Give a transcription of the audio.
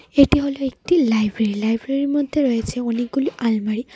এটি হলো একটি লাইব্রেরি লাইব্রেরীর মধ্যে রয়েছে অনেকগুলো আলমারি।